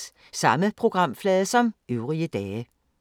Samme programflade som øvrige dage